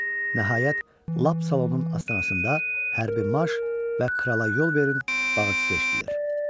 Nəhayət, lap salonun astanasında hərbi marş və krala yol verin bağırtısı eşitdilər.